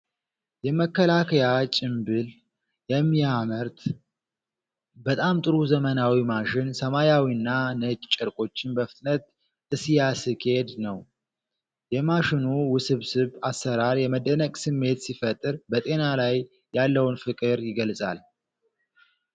የመከላከያ ጭምብል የሚያመርት በጣም ጥሩ ዘመናዊ ማሽን ሰማያዊና ነጭ ጨርቆችን በፍጥነት እሲያስኬድ ነው። የማሽኑ ውስብስብ አሰራር የመደነቅ ስሜት ሲፈጥር፣ በጤና ላይ ያለውን ፍቅር ይገልጻል።